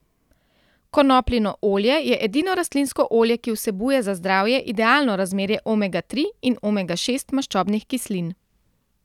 Konopljino olje je edino rastlinsko olje, ki vsebuje za zdravje idealno razmerje omega tri in omega šest maščobnih kislin.